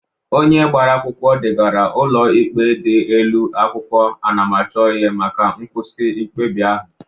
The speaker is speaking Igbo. Onye gbara akwụkwọ degara ụlọ ikpe dị elu akwụkwọ anamachọihe maka nkwụsị mkpebi ahụ